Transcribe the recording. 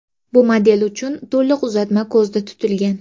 Bu model uchun to‘liq uzatma ko‘zda tutilgan.